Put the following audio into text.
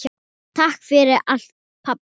Takk fyrir allt, pabbi minn.